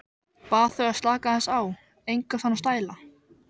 Bað þau að slaka aðeins á, enga svona stæla!